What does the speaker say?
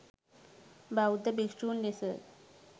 බෞද්ධ භික්ෂූන් ලෙස